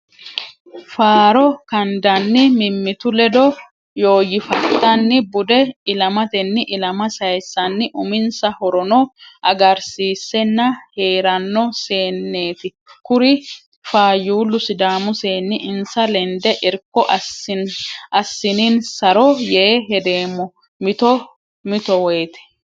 Faaro gadanni mimmitu ledo yoyifattanni bude ilamatenni ilama sayisanni uminsa horono agarsiisenna heerano seenneti kuri faayyulu sidaamu seenni insa lende irko assininsaro yee hedeemmo mitto mittowoyte.